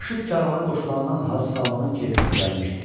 Aşıq karvana qoşulandan Hacı Salmanın keyfi kökəlmişdi.